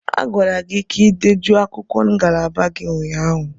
A gwara gị ka ị dejuo akwụkwọ ngalaba gị ụnyaahụ!